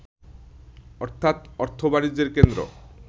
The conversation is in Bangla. অর্থাৎ অর্থ-বাণিজ্যের কেন্দ্র